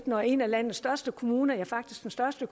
når en af landets største kommuner ja faktisk den største